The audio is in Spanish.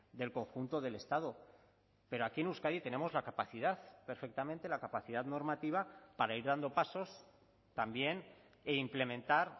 del conjunto del estado pero aquí en euskadi tenemos la capacidad perfectamente la capacidad normativa para ir dando pasos también e implementar